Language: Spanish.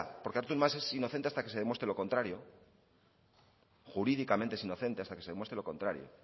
porque artur mas es inocente hasta que se demuestre lo contrario jurídicamente es inocente hasta que se demuestre lo contrario